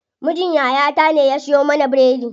Mijin yaya ta ne ya siyo mana biredi.